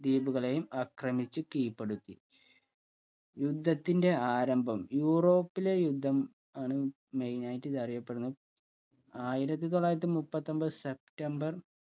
ദ്വീപുകളേയും ആക്രമിച്ചു കീഴ്‌പ്പെടുത്തി യുദ്ധത്തിന്റെ ആരംഭം യൂറോപ്പിലെ യുദ്ധം ആണ് main ആയിട്ട് ഇത് അറിയപെടുന്നേ ആയിരത്തി തൊള്ളായിരത്തി മുപ്പത്തൊൻപതു സെപ്റ്റംബർ